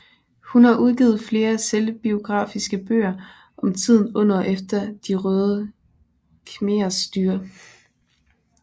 Hun har udgivet flere selvbiografiske bøger om tiden under og efter de Røde Khmerers styre